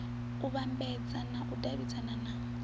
u vhambadza u davhidzana na